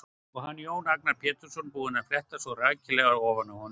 Og hann, Jón Agnar Pétursson, búinn að fletta svona rækilega ofan af honum!